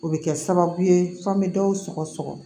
O bɛ kɛ sababu ye f'an bɛ dɔw sɔgɔ